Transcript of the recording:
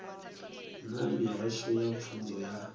na mihasho ya pfunzo ya